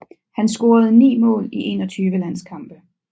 Han scorede 9 mål i 21 landskampe